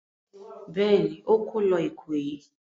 Bẹ́ẹ̀ ni, ó kó lọ Ìkòyí.